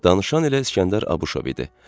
Danışan elə İskəndər Abışov idi.